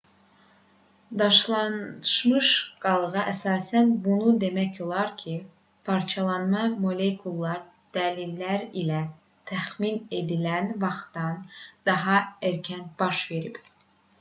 daşlaşmış qalığa əsasən bunu demək olar ki parçalanma molekulyar dəlillər ilə təxmin edilən vaxtdan daha erkən baş verib